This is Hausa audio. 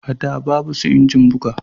A da babu su injin buga